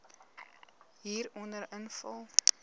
hieronder invul